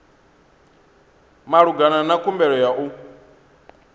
malugana na khumbelo ya u